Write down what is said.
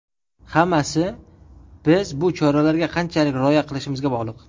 Hammasi biz bu choralarga qanchalik rioya qilishimizga bog‘liq.